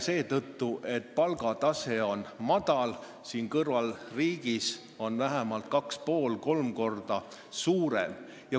... seetõttu, et palgatase on madal ja kõrvalriigis on see vähemalt kaks ja pool või kolm korda kõrgem.